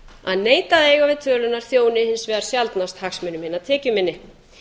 að neita að eiga við stöðuna þjóni hins vegar sjaldnast hagsmuni hinna tekjuminni